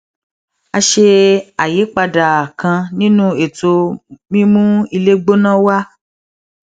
a ṣe àyípadà kan nínú ètò mímú ilé gbóná wa